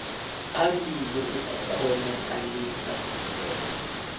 phambili ukukghonakalisa bona